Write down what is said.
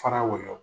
Fara wali